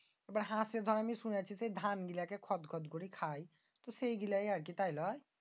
এবার হাঁসে আমি শুনেছি যে দর ধান গিলাকে খদ খদ করে খায়। তো সেই গিলাই আর কি তাই লয়?